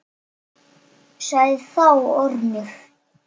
Sagði þá Ormur